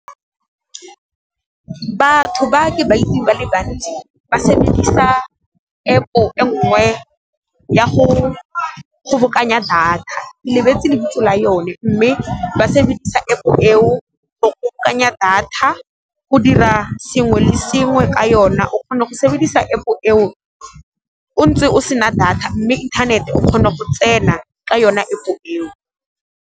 Batho ba ke ba itsing ba le bantsi ba sebedisa App-o e ngwe ya go kgobokanya data, ke lebetse lebitso la yone mme ba sebedisa App-o e o go bokanya data, go dira sengwe le sengwe ka yona. O kgona go sebedisa App-o eo o ntse o sena data mme inthanete o kgone go tsena ka yona App-o eo.